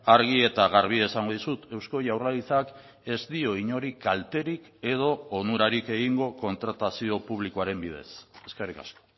argi eta garbi esango dizut eusko jaurlaritzak ez dio inori kalterik edo onurarik egingo kontratazio publikoaren bidez eskerrik asko